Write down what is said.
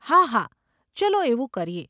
હાહા, ચલો એવું કરીએ.